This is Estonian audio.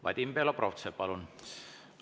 Vadim Belobrovtsev, palun!